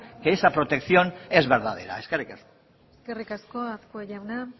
que esa protección es verdadera eskerrik asko eskerrik asko azkue jauna